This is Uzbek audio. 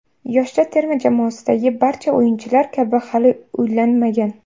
Yoshlar terma jamoasidagi barcha o‘yinchilar kabi hali uylanmagan.